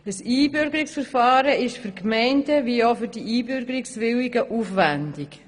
Ein Einbürgerungsverfahren ist sowohl für die Gemeinden als auch für die Einbürgerungswilligen aufwändig.